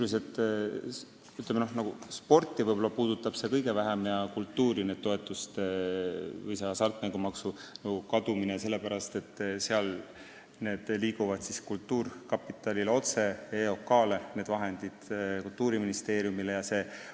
Hasartmängumaksu Nõukogu kadumine puudutab sporti sisuliselt kõige vähem, sellepärast et seal liiguvad need vahendid kultuurkapitalile, EOK-le ja Kultuuriministeeriumile otse.